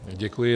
Děkuji.